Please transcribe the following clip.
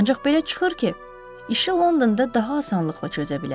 Ancaq belə çıxır ki, işi Londonda daha asanlıqla çözə bilərik.